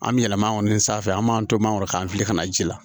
An bɛ yɛlɛma kɔni sanfɛ an b'an to mangoro kan fili kana ji la